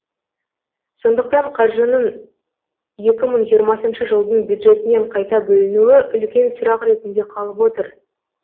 сондықтан қаржының екі мың жиырмасыншы жылдың бюджетінен қайта бөлінуі үлкен сұрақ ретінде қалып отыр